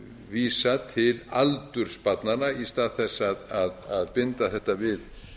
vísa til aldurs barnanna í stað þess að binda þetta við